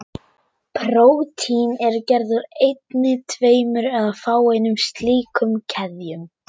Prótín eru gerð úr einni, tveimur eða fáeinum slíkum keðjum.